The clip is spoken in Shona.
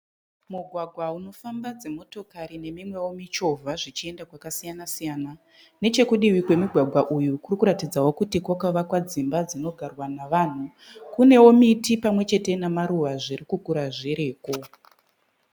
Mugwagwa unofamba dzi motokari nemimweo michovha zvichienda kwakasiyana siyana. Nechekudivi kwemugwagwa uyu kurikutaridzao kuti kwakavakwa dzimba dzinogarwa navanhu. Kuneo miti pamwechete namaruwa zviri kukura zviriko.